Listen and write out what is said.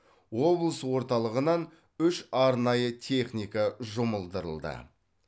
облыс орталығынан үш арнайы техника жұмылдырылды